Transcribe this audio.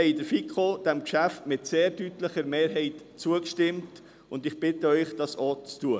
Die FiKo hat diesem Geschäft mit sehr deutlicher Mehrheit zugestimmt, und ich bitte Sie, dies ebenso zu tun.